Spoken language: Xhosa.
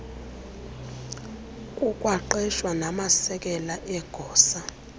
kukwaqeshwe namasekela egosa